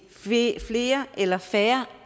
flere eller færre